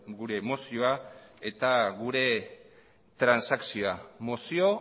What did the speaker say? gure mozioa eta gure transakzioa mozio